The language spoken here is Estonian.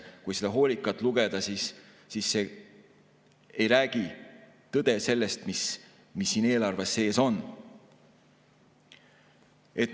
Kui hoolikalt lugeda, siis on selge, et see ei räägi tõde sellest, mis siin eelarve sees on.